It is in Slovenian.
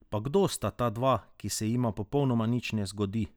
Pa kdo sta ta dva, ki se jima popolnoma nič ne zgodi?